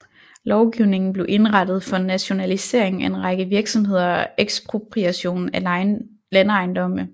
Lovgivningen blev indrettet for en nationalisering af en række virksomheder og ekspropriation af landejendomme